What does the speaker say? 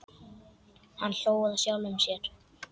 Hann hló að sjálfum sér.